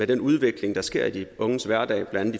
den udvikling der sker i de unges hverdag blandt